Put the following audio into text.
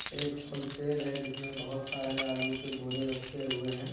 एक होलसेल है जिसमें बहुत सारे आलू के बोरे रखे हुए हैं।